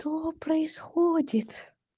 что происходит